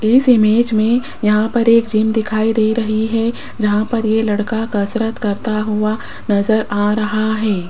इस इमेज में यहां पर एक जिम दिखाई दे रही है जहां पर ये लड़का कसरत करता हुआ नजर आ रहा है।